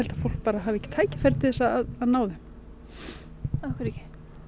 fólk hafi ekki tækifæri til að ná þeim af hverju ekki